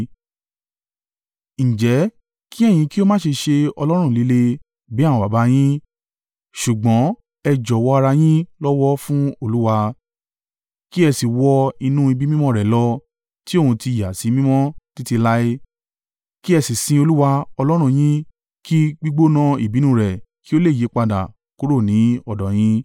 Ǹjẹ́ kí ẹ̀yin kí ó má ṣe ṣe ọlọ́rùn líle, bí àwọn baba yín, ṣùgbọ́n ẹ jọ̀wọ́ ara yín lọ́wọ́ fún Olúwa, kí ẹ sì wọ inú ibi mímọ́ rẹ̀ lọ, ti òun ti ìyàsímímọ́ títí láé. Kí ẹ sì sin Olúwa, Ọlọ́run yín kí gbígbóná ìbínú rẹ̀ kí ó lè yípadà kúrò ní ọ̀dọ̀ yín.